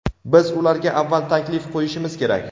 biz ularga avval taklif qo‘yishimiz kerak.